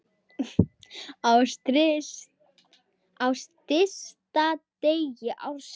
Á stysta degi ársins.